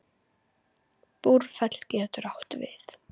Búrfell getur átt við